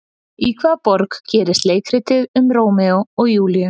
Í hvaða borg gerist leikritið um Rómeó og Júlíu?